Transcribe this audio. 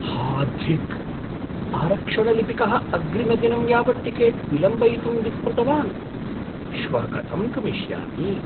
हा धिक्, आरक्षणलिपिकः अग्रिमदिनं यावत् टिकेट् विलम्बयितुं विस्मृतवान्, श्वः कथं गमिष्यामि?